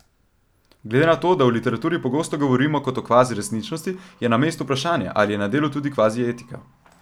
Glede na to, da o literaturi pogosto govorimo kot o kvazi resničnosti, je na mestu vprašanje, ali je na delu tudi kvazi etika.